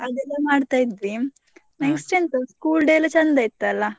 ಅದೆಲ್ಲಾ ಮಾಡ್ತಾ ಇದ್ವಿ. ಎಂಥ school day ಎಲ್ಲಾ ಚೆಂದ ಇತ್ತಲ್ಲ.